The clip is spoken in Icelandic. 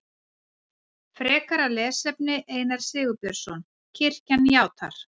Frekara lesefni Einar Sigurbjörnsson: Kirkjan játar.